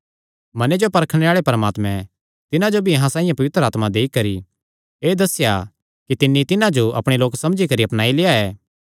मने जो परखणे आल़े परमात्मैं तिन्हां जो भी अहां साइआं पवित्र आत्मा देई करी एह़ दस्सेया कि तिन्नी तिन्हां जो अपणे लोक समझी करी अपनाई लेआ ऐ